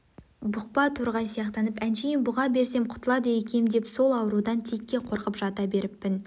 бұқпа торғай сияқтанып әншейін бұға берсем құтылады екем деп сол аурудан текке қорқып жата беріппін